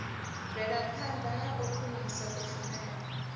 mvelaphanḓa na u khwinisa kushumele